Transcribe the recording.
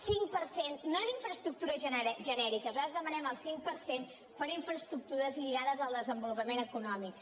cinc per cent no d’infraestructures genèriques nosaltres demanem el cinc per cent per a infraestructures lligades al desenvolupament econòmic